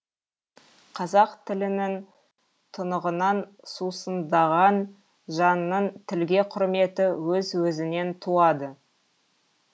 қазақ тілінің тұнығынан сусындаған жанның тілге құрметі өз өзінен туады